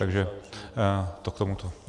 Takže to k tomuto.